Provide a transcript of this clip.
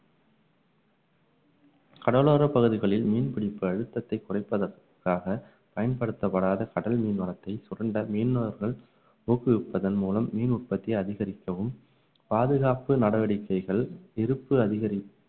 கடலோரப் பகுதிகளில் மீன் பிடிப்பு அழுத்தத்தை குறைப்பதற்காக பயன்படுத்தப்படாத கடல் மீன் வளத்தை சுரண்ட மீனவர்கள் ஊக்குவிப்பதன் மூலம் மீன் உற்பத்தியை அதிகரிக்கவும் பாதுகாப்பு நடவடிக்கைகள் இருப்பு அதிகரி~